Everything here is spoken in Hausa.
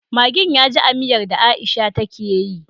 Maggin yaji a miyar da aisha take yi